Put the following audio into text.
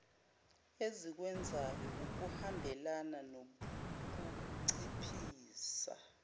esikwenzayo okuhambelana nokunciphisa